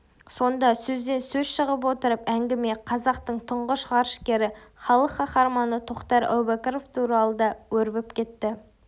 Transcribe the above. сонда сөзден сөз шығып отырып әңгіме қазақтың тұңғыш ғарышкері халық қаһарманы тоқтар әубәкіров туралы да өрбіп кетті